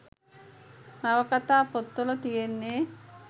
නවකතා පොත් වල තියෙන්නෙ